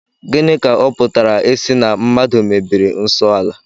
Gịnị ka ọ pụtara ịsị na mmadụ mebiri nsọ ala?